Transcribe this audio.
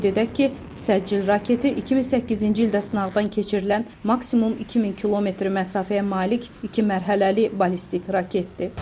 Qeyd edək ki, Səcil raketi 2008-ci ildə sınaqdan keçirilən maksimum 2000 km məsafəyə malik iki mərhələli ballistik raketdir.